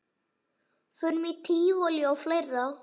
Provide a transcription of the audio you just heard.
Förum í tívolí og fleira.